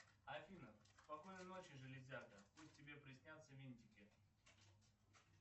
афина спокойной ночи железяка пусть тебе приснятся винтики